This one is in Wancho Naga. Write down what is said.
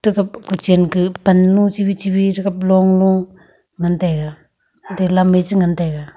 thakap kochen ka pan lung chebi chebi thakap long lu ngan taiga athe lam me che ngan taiga.